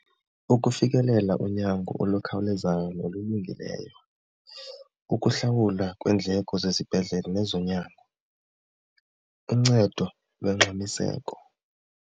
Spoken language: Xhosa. Ukufikelela unyango olukhawulezayo nolulungileyo, ukuhlawulwa kweendleko zesibhedlele nezonyango, uncedo longxamiseko.